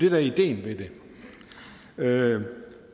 er ideen med